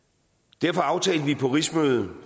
derfor aftalte vi på rigsmødet